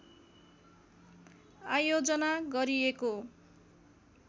आयोजना गरिएको